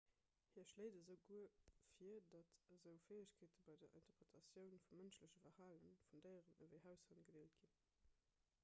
hie schléit esouguer vir datt esou fäegkeete bei der interpretatioun vum mënschleche verhale vun déieren ewéi haushënn gedeelt ginn